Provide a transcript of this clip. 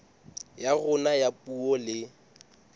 ya rona ya puo le